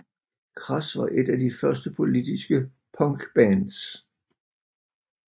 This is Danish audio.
Crass var et af de første politiske punkbands